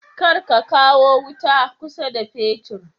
Kar ka kawo wuta kusa da fetur